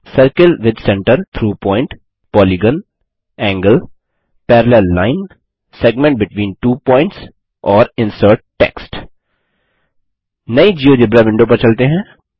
circle with centre through point polygon angle parallel line segment between two points और insert text नई GeoGebra window पर चलते हैं